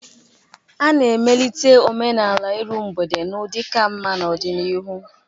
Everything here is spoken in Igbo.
A ga-emelite omenala iru mgbede n'ụdị ka mma n'ọdịnihu